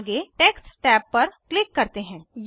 आगे text tab पर click करते हैं